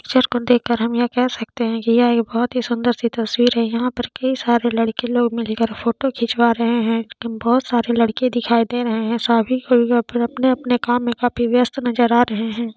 हम ये कह सकते है की यह बहुत सुंदर सी तस्वीर है यहाँ पर कही सारे लड़के लोग मिलके फोटो खिचवा रहे है लेकिन बहुत सारे लड़के दिखाई दे रहे है सभी अपने अपने काम में काफी व्यस्त नजर आ रहे है।